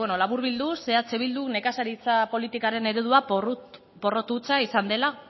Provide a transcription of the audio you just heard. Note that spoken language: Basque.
laburbilduz eh bilduk nekazaritza politikaren eredua porrot hutsa izan dela